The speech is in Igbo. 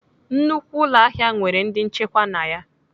Nnukwu ụlọahịa nwere ndị nchekwa na ya.